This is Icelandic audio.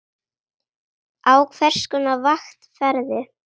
Á hvers konar vakt ferðu?